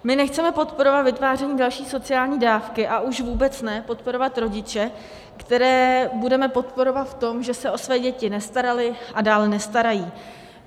My nechceme podporovat vytváření další sociální dávky, a už vůbec ne podporovat rodiče, které budeme podporovat v tom, že se o své děti nestarali a dále nestarají.